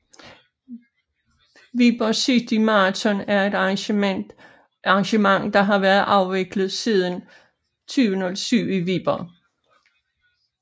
Viborg City Marathon er et arrangement der har været afviklet siden 2007 i Viborg